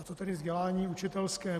A to tedy vzdělání učitelské.